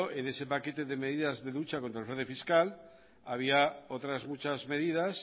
en ese paquete de medidas contra el fraude fiscal había otra muchas medidas